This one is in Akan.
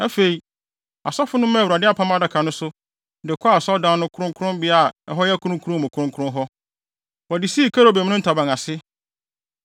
Afei, asɔfo no maa Awurade Apam Adaka no so, de kɔɔ Asɔredan no kronkronbea a ɛhɔ yɛ Kronkron mu Kronkron hɔ. Wɔde sii kerubim no ntaban ase.